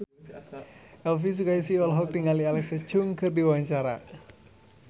Elvi Sukaesih olohok ningali Alexa Chung keur diwawancara